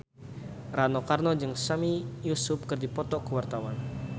Rano Karno jeung Sami Yusuf keur dipoto ku wartawan